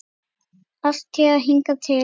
Alltént hingað til.